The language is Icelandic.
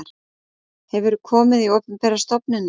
Hefurðu komið í opinberar stofnanir?